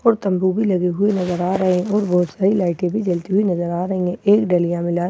और तंबू भी लगे हुए नजर आ रहे हैं और बहुत सारी लाइटें भी जलती हुई नज़र आ रही है एक डलियां में लाल कलर के टमाटर--